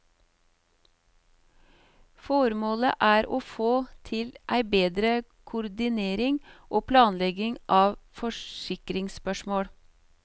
Føremålet er å få til ei betre koordinering og planlegging av forskingsspørsmål.